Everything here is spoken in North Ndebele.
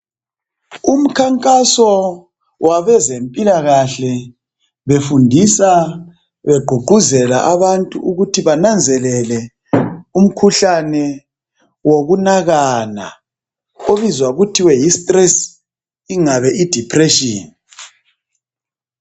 Umkhankaso wabezempilakahle, befundisa begqugquzela abantu ukuthi bananzelele umkhuhlane wokunakana obizwa kuthiwe yi'stress', ingabe kuthiwe yi'depression'.